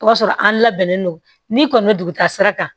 O b'a sɔrɔ an labɛnnen don n'i kɔni bɛ duguta sira kan